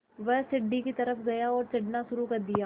वह सीढ़ी की तरफ़ गया और चढ़ना शुरू कर दिया